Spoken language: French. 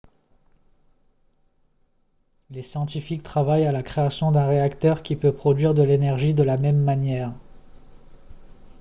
les scientifiques travaillent à la création d'un réacteur qui peut produire de l'énergie de la même manière